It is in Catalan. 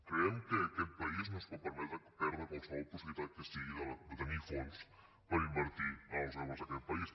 creiem que aquest país no es pot permetre perdre qualsevol possibilitat que sigui de tenir fons per invertir en els joves d’aquest país